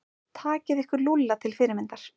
Takið ykkur Lúlla til fyrirmyndar.